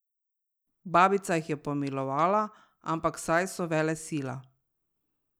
Babica jih je pomilovala, ampak, saj so velesila!